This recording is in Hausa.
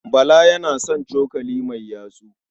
Bala yana son cokali mai yatsu.